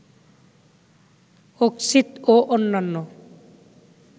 অক্সিতঁ ও অন্যান্য